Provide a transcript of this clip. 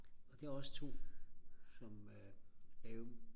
og det er også 2 som laver